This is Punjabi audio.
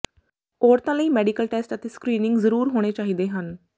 ਔਰਤਾਂ ਲਈ ਮੈਡੀਕਲ ਟੈਸਟ ਅਤੇ ਸਕ੍ਰੀਨਿੰਗ ਜ਼ਰੂਰ ਹੋਣੇ ਚਾਹੀਦੇ ਹਨ